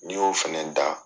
N'i y'o fana da